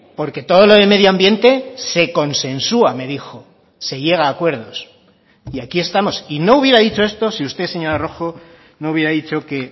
porque todo lo de medio ambiente se consensua me dijo se llega a acuerdos y aquí estamos y no hubiera dicho esto si usted señora rojo no hubiera dicho que